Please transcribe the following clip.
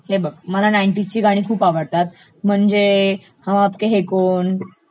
हे बघ मला नाइनटीजची गाणी खूप आवडतात, म्हणजे हम आपके है कौन?